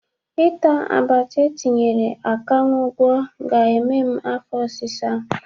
Ịta abacha etinyere akaṅwụ gwọ ga-eme m afọ ọsịsa.